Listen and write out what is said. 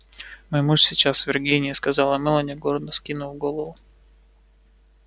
мой муж сейчас в виргинии сказала мелани гордо вскинув голову